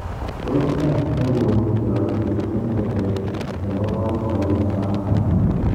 tos ne nekonu yaityet eng tetet nebo boiboyet nebanganat